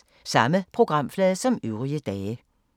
Samme programflade som øvrige dage